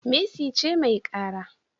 Mercy ce mai kara